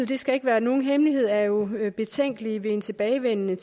det skal ikke være nogen hemmelighed at alternativet jo er betænkelige ved en tilbagevenden